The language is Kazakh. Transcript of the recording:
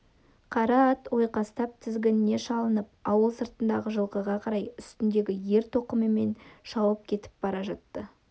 қара ат ойқастап тізгініне шалынып ауыл сыртындағы жылқыға қарай үстіндегі ер-тоқымымен шауып кетіп бара жатты